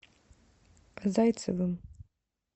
зайцевым